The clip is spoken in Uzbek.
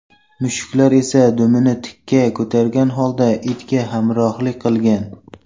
Mushuklar esa dumini tikka ko‘targan holda itga hamrohlik qilgan.